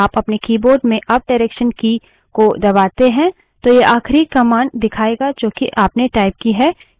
पहले साधारणतः यदि आप अपने keyboard में अपडायरेक्सन की की को दबाते हैं तो यह आखिरी command दिखायेगा जो कि आपने टाइप की है